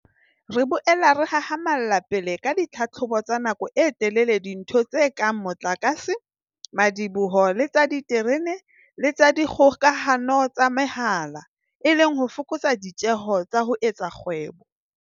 Re boela re hahama lla pele ka ditlhabollo tsa nako e telele dinthong tse kang mo tlakase, madiboho le tsa diterene le tsa dikgokahano tsa mehala, e le ho fokotsa ditjeo tsa ho etsa kgwebo.